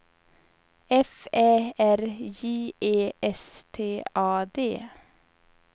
F Ä R J E S T A D